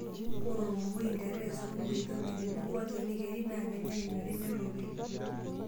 Ore olmomoi, nterere, sukuma e Ethopia tenebo enkchani keri naaa kenyai enyori nerropil.